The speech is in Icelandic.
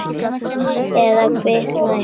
Eða kviknað í húsinu.